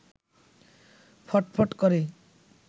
ফটফট করে